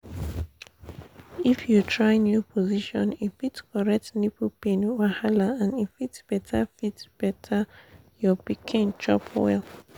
if you try new position e fit correct nipple pain wahala and e fit better fit better your pikin chop levels